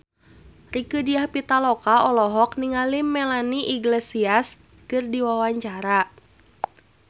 Rieke Diah Pitaloka olohok ningali Melanie Iglesias keur diwawancara